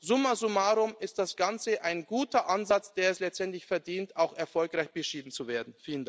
Summa summarum ist das Ganze ein guter Ansatz, der es letztendlich verdient, auch erfolgreich beschieden zu werden.